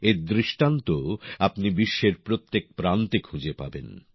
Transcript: এর দৃষ্টান্ত আপনি বিশ্বের প্রত্যেক প্রান্তে খুঁজে পাবেন